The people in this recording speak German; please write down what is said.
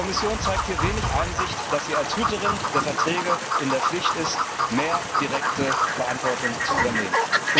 Die Kommission zeigt hier wenig Einsicht, dass sie als Hüterin der Verträge in der Pflicht ist, mehr direkte Verantwortung zu übernehmen.